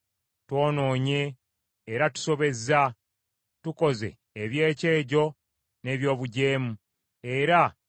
twonoonye era tusobezza, tukoze eby’ekyejo n’eby’obujeemu, era